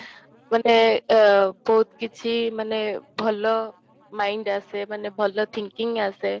ମାନେ ଆଃ ବହୁତ କିଛି ମାନେ ଭଲ mind ଆସେ ମାନେ ଭଲ thinking ଆସେ